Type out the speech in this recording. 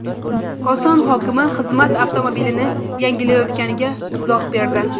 Koson hokimi xizmat avtomobilini yangilayotganiga izoh berdi.